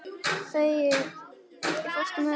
Þengill, ekki fórstu með þeim?